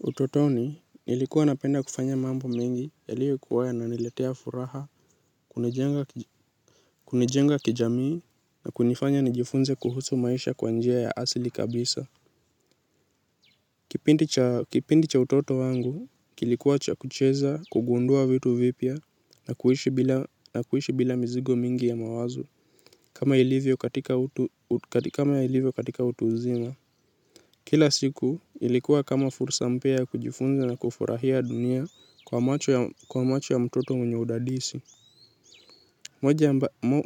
Utotoni nilikuwa napenda kufanya mambo mingi yaliokuwa yananiletea furaha, kunijenga kijamii na kunifanya nijifunze kuhusu maisha kwa njia ya asili kabisa. Kipindi cha utoto wangu, kilikuwa cha kucheza, kugundua vitu vipya na kuishi bila mizigo mingi ya mawazo, kama ilivyokatika utu uzima. Kila siku ilikuwa kama fursa mpya kujifunza na kufurahia dunia kwa macho ya mtoto mwenye udadisi.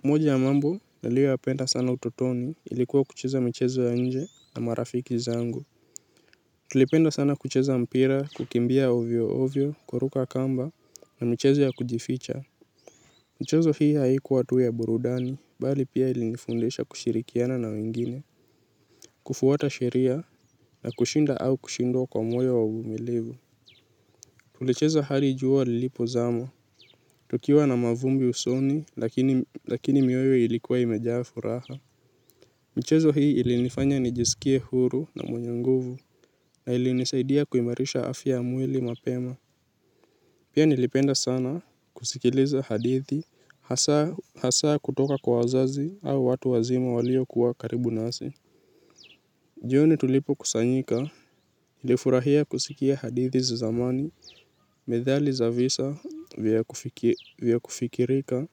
Moja ya mambo niliyoyapenda sana utotoni ilikuwa kucheza michezo ya nje na marafiki zangu. Tulipenda sana kucheza mpira, kukimbia ovyo ovyo, kuruka kamba na michezo ya kujificha. Michezo hii haikuwa tu ya burudani, bali pia ilinifundisha kushirikiana na wengine. Kufuata sheria na kushinda au kushindwa kwa moyo wa uvumilivu. Tulicheza hadi jua lilipozama. Tukiwa na mavumbi usoni lakini mioyo ilikuwa imejaa furaha. Michezo hii ilinifanya nijisikie huru na mwenye nguvu. Na ilinisaidia kuimarisha afya mwili mapema. Pia nilipenda sana kusikiliza hadithi hasa kutoka kwa wazazi au watu wazima walio kuwa karibu nasi. Jioni tulipokusanyika nilifurahia kusikia hadithi za zamani, methali za visa vya vya kufikirika,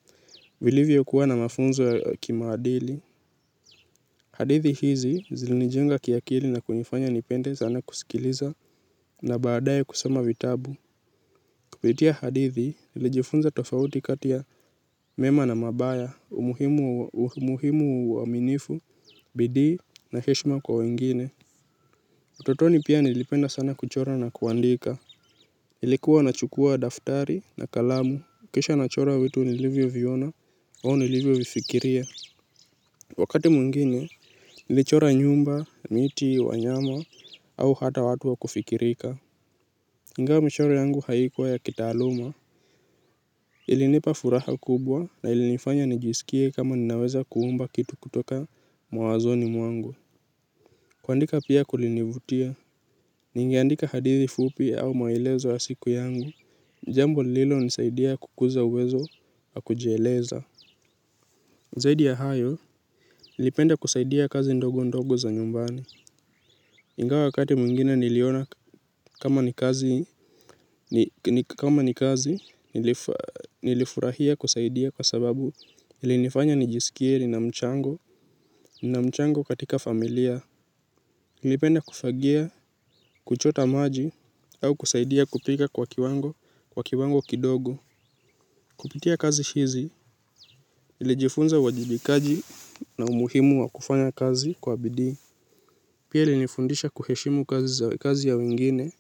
vilivyokuwa na mafunzo ya kimaadili. Hadithi hizi zilinijenga kiakili na kunifanya nipende sana kusikiliza na baadae kusoma vitabu. Kupitia hadithi nilijifunza tofauti kati ya mema na mabaya, umuhimu wa uaminifu, bidii na heshima kwa wengine. Utotoni pia nilipenda sana kuchora na kuandika, ilikuwa nachukua daftari na kalamu, kisha nachora vitu nilivyoviona, au nilivyovifikiria. Wakati mwingine, nilichora nyumba, miti, wanyama, au hata watu wa kufikirika. Ingawa michoro yangu haikuwa ya kitaaluma, ilinipa furaha kubwa na ilinifanya nijisikie kama ninaweza kuumba kitu kutoka mawazoni mwangu. Kuandika pia kulinivutia, ningeandika hadithi fupi au maelezo ya siku yangu, jambo lililonisaidia kukuza uwezo wa kujieleza. Zaidi ya hayo, nilipenda kusaidia kazi ndogo ndogo za nyumbani. Ingawa wakati mwingine niliona kama ni kazi nilifurahia kusaidia kwa sababu ilinifanya nijisikie nina mchango katika familia. Nilipenda kufagia, kuchota maji au kusaidia kupika kwa kiwango, kwa kiwango kidogo. Kupitia kazi hizi, nilijifunza uwajibikaji na umuhimu wa kufanya kazi kwa bidii. Pia ilinifundisha kuheshimu kazi ya wengine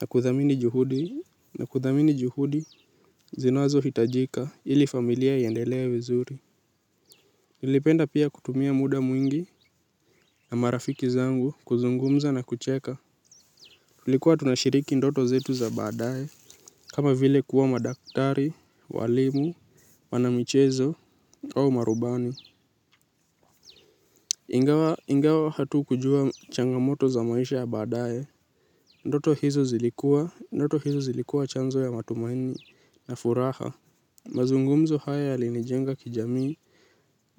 na kuthamini juhudi na kuthamini juhudi zinazohitajika ili familia iendelee vizuri. Nilipenda pia kutumia muda mwingi na marafiki zangu kuzungumza na kucheka. Tulikuwa tunashiriki ndoto zetu za badae, kama vile kuwa madaktari, walimu, wanamichezo, au marubani. Ingawa hatukujua changamoto za maisha ya baadae. Ndoto hizo zilikuwa chanzo ya matumaini na furaha. Mazungumzo haya yalinijenga kijamii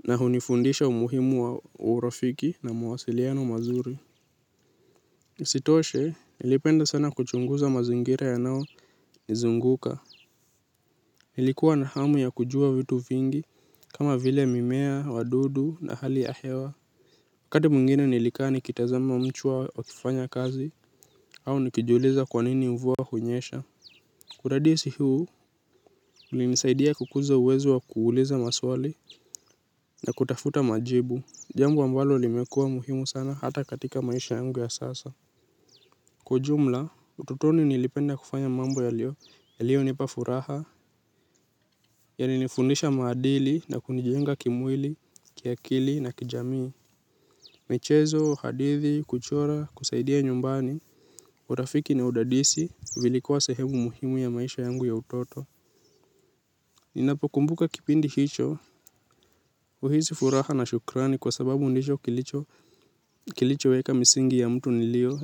na hunifundisha umuhimu wa urafiki na mawasiliano mazuri. Sitoshe, nilipenda sana kuchunguza mazingira yanaonizunguka. Nilikuwa na hamu ya kujua vitu vingi, kama vile mimea, wadudu na hali ya hewa. Wakati mwingine nilikaa nikitazama mchwa wakifanya kazi, au nikijuliza kwa nini mvua hunyesha. Uradisi huu, ulinisaidia kukuza uwezo wa kuuliza maswali na kutafuta majibu. Jambo ambalo limekuwa muhimu sana hata katika maisha yangu ya sasa. Kwa ujumla, utotoni nilipenda kufanya mambo yaliyonipa furaha, yalinifundisha maadili na kunijenga kimwili, kiakili na kijamii. Michezo, hadithi, kuchora, kusaidia nyumbani urafiki na udadisi vilikuwa sehemu muhimu ya maisha yangu ya utoto. Ninapokumbuka kipindi hicho. Uhisi furaha na shukrani kwa sababu ndicho kilichoweka misingi ya mtu nilio.